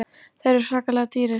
Þeir eru svakalega dýrir.